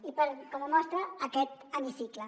i com a mostra aquest hemicicle